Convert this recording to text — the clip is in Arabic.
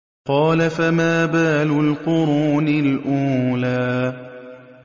قَالَ فَمَا بَالُ الْقُرُونِ الْأُولَىٰ